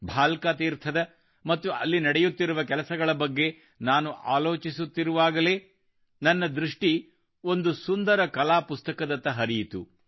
ಭಾಲ್ಕ ತೀರ್ಥದ ಮತ್ತು ಅಲ್ಲಿ ನಡೆಯುತ್ತಿರುವ ಕೆಲಸಗಳ ಬಗ್ಗೆ ನಾನು ಆಲೋಚಿಸುತ್ತಿರುವಾಗಲೇ ನನ್ನ ದೃಷ್ಟಿ ಒಂದು ಸುಂದರ ಕಲಾಪುಸ್ತಕದತ್ತ ಹರಿಯಿತು